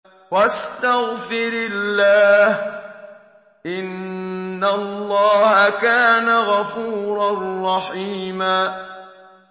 وَاسْتَغْفِرِ اللَّهَ ۖ إِنَّ اللَّهَ كَانَ غَفُورًا رَّحِيمًا